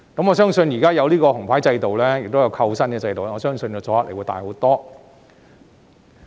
現在設有"紅牌"制度及扣薪制度，我相信阻嚇力會更大。